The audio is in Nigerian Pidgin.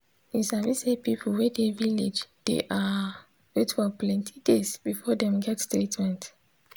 you sabi say people wey dey village dey ah wait for plenti days before dem get treatment.